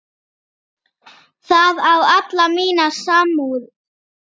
Það á alla mína samúð.